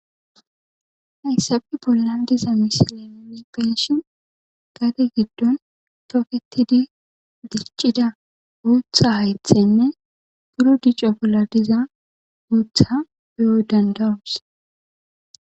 Hayssafe bollan diza misileni peshin gate giddon pofetidi diccida guutha haythenne guro dica pola diza guutha be'o dandarus